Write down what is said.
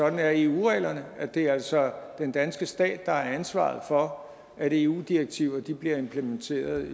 at eu reglerne er det altså er den danske stat der har ansvaret for at eu direktiver bliver implementeret